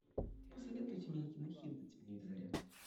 посоветуйте мне кинохит на телевизоре